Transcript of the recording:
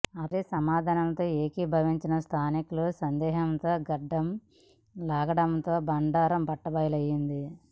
అతడి సమాధానాలతో ఏకీభవించని స్థానికులు సందేహంతో గడ్డం లాగడంతో బండారం బట్టబయలైంది